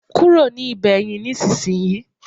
kúrò ní Ibeyin nisinsinyi